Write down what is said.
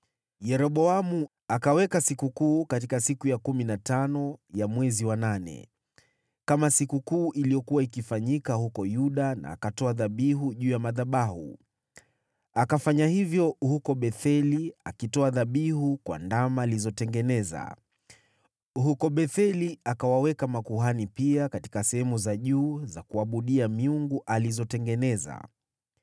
Pia Yeroboamu akaweka sikukuu katika siku ya kumi na tano ya mwezi wa nane, kama sikukuu iliyokuwa ikifanyika huko Yuda, na akatoa dhabihu juu ya madhabahu. Akafanya hivyo huko Betheli akitoa dhabihu kwa ndama alizotengeneza. Huko Betheli akawaweka makuhani, na pia katika sehemu za juu za kuabudia miungu alizozitengeneza.